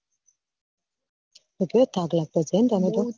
બહુ થાક લાગતો હશે તને તો